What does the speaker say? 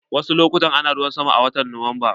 Wasu lokutan ana ruwan sama a watan Nuwamba.